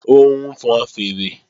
Ó ń fọn fèèrè